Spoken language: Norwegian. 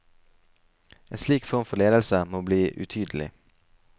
En slik form for ledelse må bli utydelig.